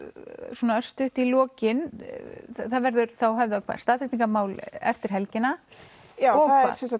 svona örstutt í lokin þá verður höfðað staðfestingarmál eftir helgina já